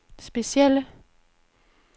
specielle